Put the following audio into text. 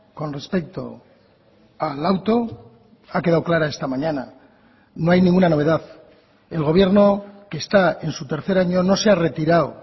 con respecto al auto ha quedado clara esta mañana no hay ninguna novedad el gobierno que está en su tercer año no se ha retirado